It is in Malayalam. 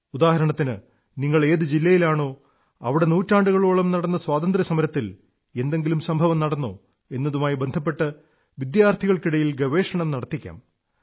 ഉദാഹരണത്തിന് നിങ്ങൾ ഏതു ജില്ലയിലാണോ അവിടെ നൂറ്റാണ്ടുകളോളം നടന്ന സ്വാതന്ത്ര്യസമരത്തിൽ എന്തെങ്കിലും സംഭവം നടന്നോ എന്നതുമായി ബന്ധപ്പെട്ട് വിദ്യാർഥികൾക്കിടയിൽ ഗവേഷണം നടത്തിക്കാം